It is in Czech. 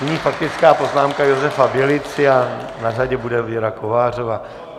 Nyní faktická poznámka Josefa Bělici a na řadě bude Věra Kovářová.